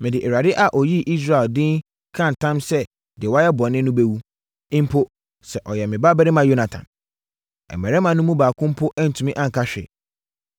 Mede Awurade a ɔyii Israel din ka ntam sɛ deɛ woayɛ bɔne no bɛwu, mpo sɛ ɔyɛ me babarima Yonatan!” Na mmarimma no mu baako mpo antumi anka hwee.